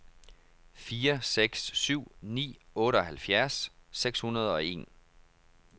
fire seks syv ni otteoghalvfjerds seks hundrede og en